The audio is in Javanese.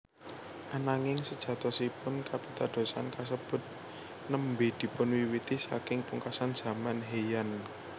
Ananging sejatosipun kapitadosan kasebut nembé dipunwiwiti saking pungkasan zaman Heian